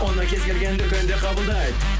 оны кез келген дүкенде қабылдайды